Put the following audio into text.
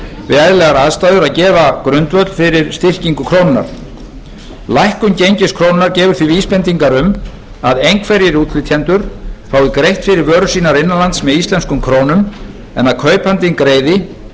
við eðlilegar aðstæður að gefa grundvöll fyrir styrkingu krónunnar lækkun gengis krónunnar gefur því vísbendingar um að einhverjir útflytjendur fái greitt fyrir vörur sínar innan lands með íslenskum krónum en að kaupandinn greiði